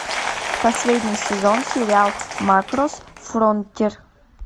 последний сезон сериал макрос фронтир